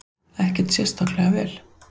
Ekkert sérstaklega vel.